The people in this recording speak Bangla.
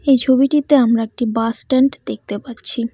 এই ছবিটিতে আমরা একটি বাস স্ট্যান্ড দেখতে পাচ্ছি।